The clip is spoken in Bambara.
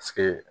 Paseke